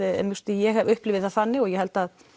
ég upplifi það þannig og ég held að